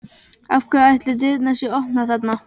Af hverju ætli dyrnar séu opnar þarna?